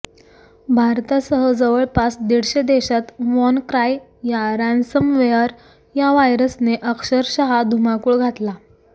भारतासह जवळपास दीडशे देशात वॉनक्राय या रॅन्समवेअर या व्हायरसने अक्षरक्षा धुमाकूळ घातला